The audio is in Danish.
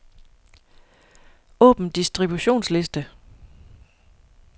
Åbn distributionsliste.